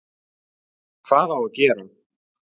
Hvað á að gera þá?